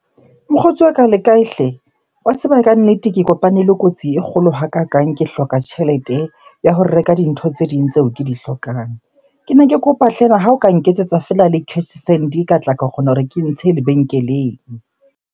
Mokgotsi wa ka le kae hle? Wa tseba kannete ke kopane le kotsi e kgolo hakakang. Ke hloka tjhelete ya ho reka dintho tse ding tseo ke di hlokang. Kene ke kopa ha o ka nketsetsa feela le cash send, ka tla ka kgona hore ke ntshe lebenkeleng.